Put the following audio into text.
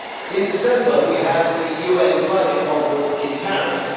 In December we have the UN Climate Conference in Paris.